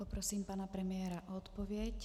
Poprosím pana premiéra o odpověď.